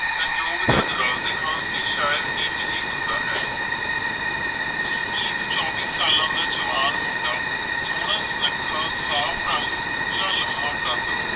ਸੰਯੋਗ ਜਦ ਰਲਦੇ ਹਨ ਤਾ ਸ਼ਾਇਦ ਇੰਝ ਹੀ ਹੁੰਦਾ ਹੈ, ਜਸਮੀਤ ਚੌਵੀ ਸਾਲਾਂ ਦਾ ਜਵਾਨ ਮੁੰਡਾ ਸੋਹਣਾ- ਸੁਨੱਖਾ, ਸਾਫ ਰੰਗ, ਉਚਾ ਲੰਮਾ ਕੱਦ